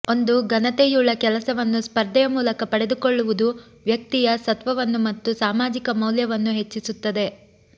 ಒಂದು ಘನತೆಯುಳ್ಳ ಕೆಲಸವನ್ನು ಸ್ಪರ್ಧೆಯ ಮೂಲಕ ಪಡೆದುಕೊಳ್ಳುವುದು ವ್ಯಕ್ತಿಯ ಸತ್ವವನ್ನೂ ಮತ್ತು ಸಾಮಾಜಿಕ ಮೌಲ್ಯವನ್ನೂ ಹೆಚ್ಚಿಸುತ್ತದೆ